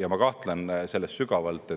Ja ma kahtlen selles sügavalt,